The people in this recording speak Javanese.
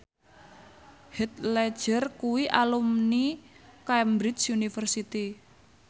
Heath Ledger kuwi alumni Cambridge University